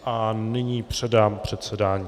A nyní předám předsedání.